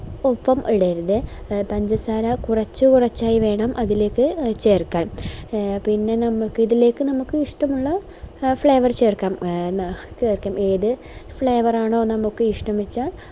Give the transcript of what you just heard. ഒപ്പം ഇടരുത് പഞ്ചസാര കുറച്ചു കുറച്ചായി വേണം അതിലേക്ക് ചേർക്കാൻ എ പിന്നെ നമുക്ക് ഇതിലേക്ക് നമുക്ക് ഇഷ്ട്ടമുള്ള flavour ചേർക്കാം എ ചേർക്കാം ഏത് flavour ആണോ നമുക്ക് ഇഷ്ട്ട